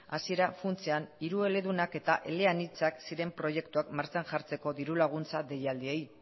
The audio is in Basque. hasiera funtsean hirueledunak eta eleanitzak ziren proiektuak martxan jartzeko diru laguntza deialdiei